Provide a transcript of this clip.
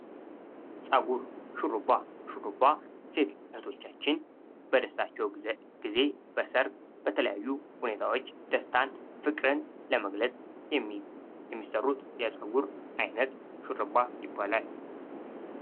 ፀጉር ሹሩባ፡- ሹሩባ ሴት እህቶቻችን በደስታቸው ጊዜ፥ በሰርግ፥ በተለያዩ ሁኔታዎች ደስታን፥ ፍቅርን ለመግለጽ የሚሰሩት የፀጉር ዓይነት ሹርባ ይባላል።